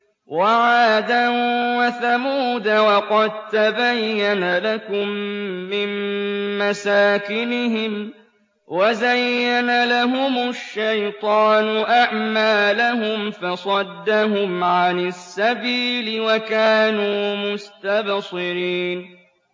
وَعَادًا وَثَمُودَ وَقَد تَّبَيَّنَ لَكُم مِّن مَّسَاكِنِهِمْ ۖ وَزَيَّنَ لَهُمُ الشَّيْطَانُ أَعْمَالَهُمْ فَصَدَّهُمْ عَنِ السَّبِيلِ وَكَانُوا مُسْتَبْصِرِينَ